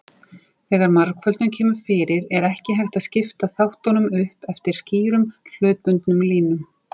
Þegar margföldun kemur fyrir er ekki hægt að skipta þáttunum upp eftir skýrum hlutbundnum línum.